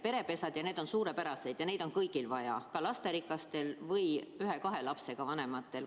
Perepesad ja kõik see on suurepärane ja neid teenuseid on paljudel vaja, ka lasterikastel ja ühe-kahe lapsega vanematel.